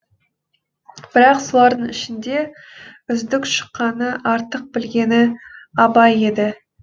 бірақ солардың ішінде үздік шыққаны артық білгені абай еді